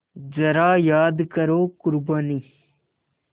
ज़रा याद करो क़ुरबानी